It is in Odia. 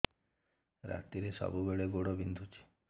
ରାତିରେ ସବୁବେଳେ ଗୋଡ ବିନ୍ଧୁଛି